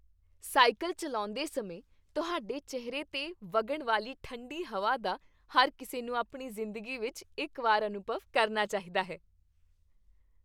Cycle ਚੱਲਾਉਂਦੇ ਸਮੇਂ ਤੁਹਾਡੇ ਚਿਹਰੇ 'ਤੇ ਵਗਣ ਵਾਲੀ ਠੰਡੀ ਹਵਾ ਦਾ ਹਰ ਕਿਸੇ ਨੂੰ ਆਪਣੀ ਜ਼ਿੰਦਗੀ ਵਿਚ ਇਕ ਵਾਰ ਅਨੁਭਵ ਕਰਨਾ ਚਾਹੀਦਾ ਹੈ।